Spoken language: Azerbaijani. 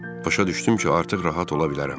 Başa düşdüm ki, artıq rahat ola bilərəm.